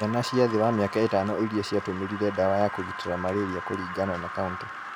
Ciana cia thĩ wa mĩaka ĩtano iria ciatũmĩrire dawa ya kũgitĩra malaria kũringana na kauntĩ